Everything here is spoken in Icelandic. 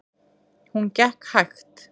Hún gekk hægt.